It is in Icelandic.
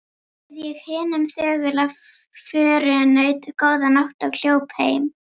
Bauð ég hinum þögula förunaut: Góða nótt og hljóp heim.